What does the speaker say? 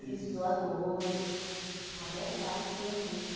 Existem doadores, a maior parte é doadores.